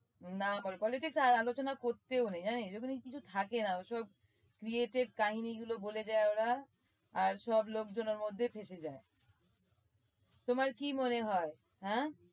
নাম আর politics আলোচনা করতেও নেই জানিস? যখনই কিছু থাকে না ওসব created কাহিনীগুলো বলে দেয় ওরা আর সব লোকজন ওর মধ্যে ফেঁসে যায়। তোমার কি মনে হয় হ্যাঁ?